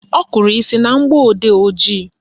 Ọ kụrụ isi na mgbọodee ojii